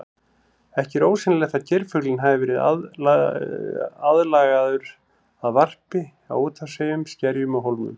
Ekki er ósennilegt að geirfuglinn hafi verið aðlagaður að varpi á úthafseyjum, skerjum og hólmum.